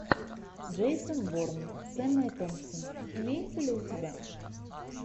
джейсон борн с эммой томпсон имеется ли у тебя